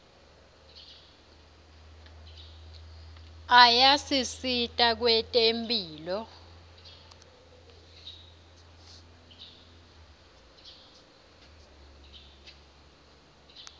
ayasisita kwetemphilo